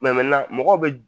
Mɛ mɛnan mɔgɔw be